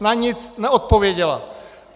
Na nic neodpověděla.